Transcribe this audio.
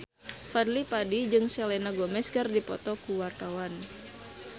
Fadly Padi jeung Selena Gomez keur dipoto ku wartawan